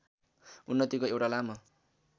उन्नतिको एउट लामो